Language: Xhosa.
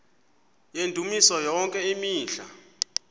yendumiso yonke imihla